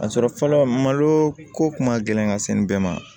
A sɔrɔ fɔlɔ malo ko kuma gɛlɛn ka se nin bɛɛ ma